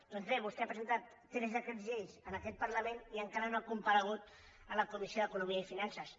doncs bé vostè ha presentat tres decrets llei en aquest parlament i encara no ha comparegut a la comissió d’economia i finances